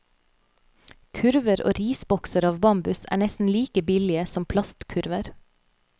Kurver og risbokser av bambus er nesten like billige som plastkurver.